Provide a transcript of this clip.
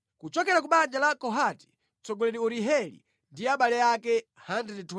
kuchokera ku banja la Kohati, mtsogoleri Urieli ndi abale ake 120.